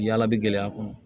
Yala bi gɛlɛya kɔnɔ